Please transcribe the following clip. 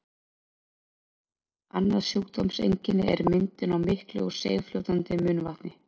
annað sjúkdómseinkenni er myndun á miklu og seigfljótandi munnvatni